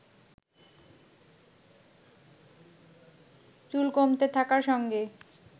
চুল কমতে থাকার সঙ্গে